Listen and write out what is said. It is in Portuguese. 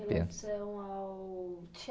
Relação ao